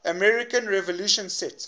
american revolution set